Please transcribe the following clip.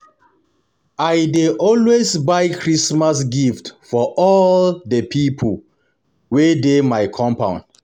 I dey always buy Christmas gift for all di pipo wey dey my compound.